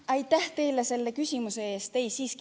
Aitäh teile selle küsimuse eest!